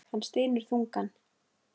Hann stynur þungan.